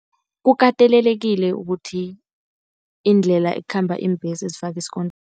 Kukatelelekile ukuthi, iindlela ekhamba iimbhesi zifakwe isikontiri